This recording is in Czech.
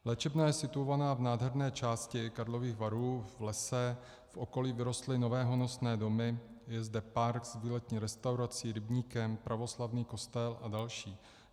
Léčebna je situovaná v nádherné části Karlových Varů v lese, v okolí vyrostly nové honosné domy, je zde park s výletní restaurací, rybníkem, pravoslavný kostel a další.